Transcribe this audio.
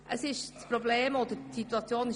Das Problem ist erkannt.